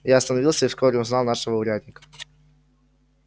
я остановился и вскоре узнал нашего урядника